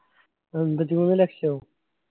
അമ്പത്തിമൂന്ന് ലക്ഷമോ